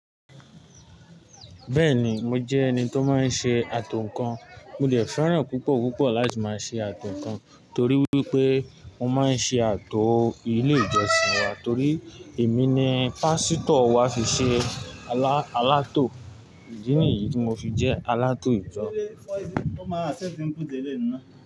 Bẹ́ẹ̀ni, mo jẹ́ ẹni tó máa ń ṣe ààtò nǹkan. Mo dè fẹ́ràn púpọ̀ púpọ̀ láti máa ṣe ààtò nǹkan torí wípé mo máa ń ṣe ààtò ilé ìjọsìn wa torí èmi ni pásítọ̀ wa fi ṣe alátò. Ìdí nìyí ti mo fi jẹ́ alátò ìjọ.